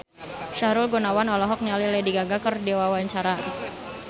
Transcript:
Sahrul Gunawan olohok ningali Lady Gaga keur diwawancara